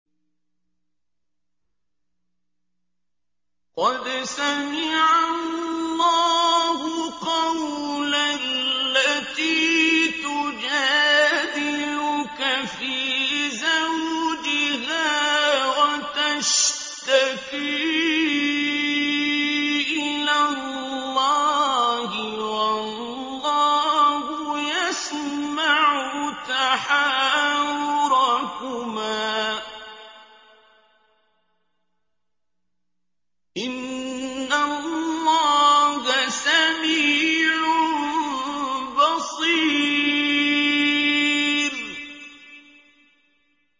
قَدْ سَمِعَ اللَّهُ قَوْلَ الَّتِي تُجَادِلُكَ فِي زَوْجِهَا وَتَشْتَكِي إِلَى اللَّهِ وَاللَّهُ يَسْمَعُ تَحَاوُرَكُمَا ۚ إِنَّ اللَّهَ سَمِيعٌ بَصِيرٌ